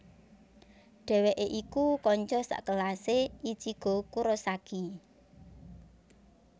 Dheweke iku kanca sakelase Ichigo Kurosaki